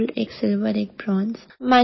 दो गोल्ड एक सिल्वर एक ब्रोंज